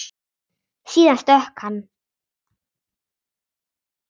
Síðan stökk hann.